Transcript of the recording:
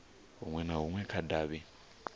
hunwe na hunwe kha davhi